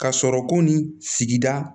Ka sɔrɔ ko nin sigida